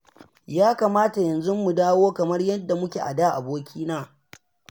Ya kamata yanzu mu dawo kamar yadda muke a da abokina